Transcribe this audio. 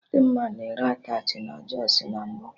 Dimma na-ere attachị na Jọsụ na mbụ